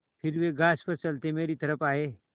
फिर वे घास पर चलते मेरी तरफ़ आये